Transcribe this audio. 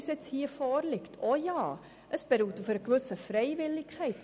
Dieses beruht auf einer gewissen Freiwilligkeit.